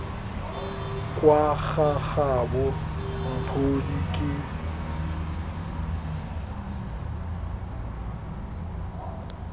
kwa ga gabo mphodi ke